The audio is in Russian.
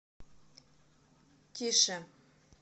тише